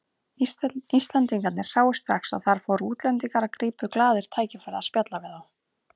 Íslendingarnir sáu strax að þar fóru útlendingar og gripu glaðir tækifærið að spjalla við þá.